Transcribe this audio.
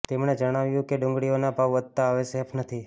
તેમણે જણાવ્યું કે ડુંગળીઓનો ભાવ વધતા હવે સેફ નથી